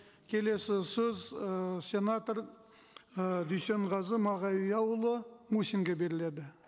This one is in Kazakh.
келесі сөз ыыы сенатор ы дүйсенғазы мағауияұлы мусинге беріледі